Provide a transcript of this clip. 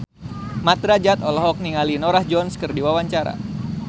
Mat Drajat olohok ningali Norah Jones keur diwawancara